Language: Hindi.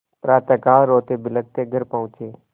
प्रातःकाल रोतेबिलखते घर पहुँचे